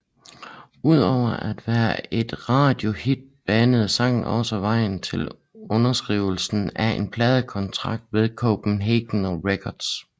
Udover at være et radiohit banede sangen også vejen til underskrivelse af en pladekontakt med Copenhagen Records